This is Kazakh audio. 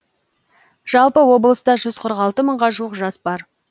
жалпы облыста жүз қырық алты мыңға жуық жас бар